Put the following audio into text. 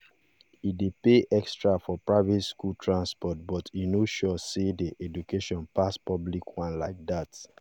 e dey pay extra for private school transport but e no sure say the education pass public one like that